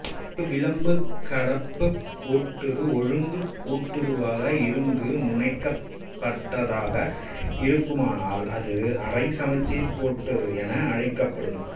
ஒரு விளிம்புகடப்புக் கோட்டுரு ஒழுங்கு கோட்டுருவாக இருந்து முனைகடப்பற்றதாக இருக்குமானால் அது அரைசமச்சீர் கோட்டுரு என அழைக்கப்படும்